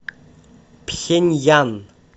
пхеньян